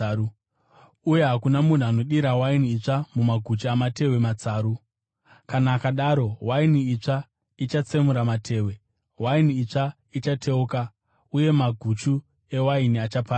Uye hakuna anodira waini itsva mumaguchu amatehwe matsaru. Kana akadaro, waini itsva ichatsemura matehwe, waini itsva ichateuka uye maguchu ewaini achaparadzwa.